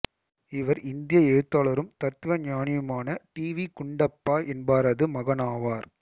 இவர் இந்திய எழுத்தாளரும் தத்துவஞானியுமான டி வி குண்டப்பா என்பாரது மகனாவார்